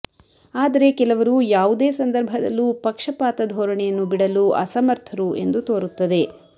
ಆದರೆ ಕೆಲವರು ಯಾವುದೇ ಸಂದರ್ಭದಲ್ಲೂ ಪಕ್ಷಪಾತ ಧೋರಣೆಯನ್ನು ಬಿಡಲು ಅಸಮರ್ಥರು ಎಂದು ತೋರುತ್ತದೆ